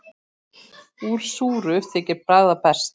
Úr súru þykir bragða best.